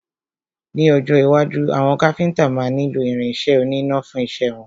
Ní ọjọ́ iwájú, àwọn Káfíntà máa nílo irin isẹ́ oníná fún isẹ́ wọn.